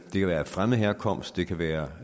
det kan være af fremmed herkomst det kan være